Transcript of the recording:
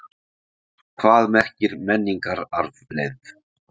Hvað merkir menningararfleifð?